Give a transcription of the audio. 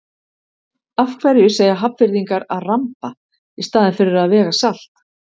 Af hverju segja Hafnfirðingar að ramba í staðinn fyrir að vega salt?